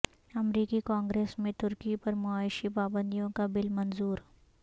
امریکی کانگریس میں ترکی پر معاشی پابندیوں کا بل منظور